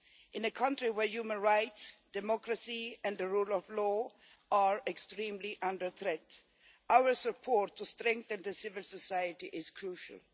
In a country where human rights, democracy and the rule of law are extremely under threat, our support for strengthening civil society is crucial.